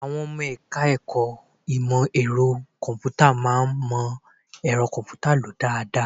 Àwọn ọmọ ẹ̀ka-ẹ̀kọ́ ìmọ ẹ̀rọ kọ̀m̀pútà máa ń mọ ẹ̀rọ kọ̀m̀pútà lò dáadáa